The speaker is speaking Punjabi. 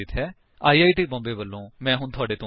ਆਈ ਆਈ ਟੀ ਬੌਮਬੇ ਵਲੋਂ ਮੈਂ ਹੁਣ ਤੁਹਾਡੇ ਤੋਂ ਵਿਦਾ ਲੈਂਦਾ ਹਾਂ